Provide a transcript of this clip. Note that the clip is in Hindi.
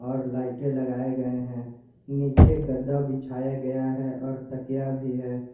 और लाइटें लगाए गए हैं नीचे गद्दा बिछाया गया है और तकिया भी है।